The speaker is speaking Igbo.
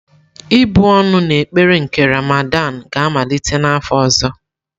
Ịbụ́ ọnụ na ekpere nke Ramadan ga-amalite n'afọ ọzọ.